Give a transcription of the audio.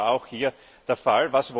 Das war auch hier der Fall.